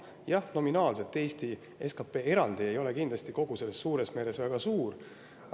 Jah, nominaalselt ei ole Eesti SKT eraldivõetuna kogu selles suures meres kindlasti väga suur.